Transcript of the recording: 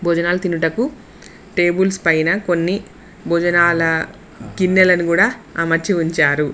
భోజనాలు తినుటకు టేబుల్స్ పైన కొన్ని భోజనాల గిన్నెలను కూడా అమర్చి ఉంచారు.